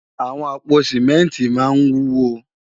Awòn àpó simènti má n wúwó